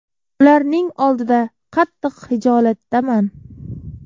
Ularning oldida qattiq xijolatdaman.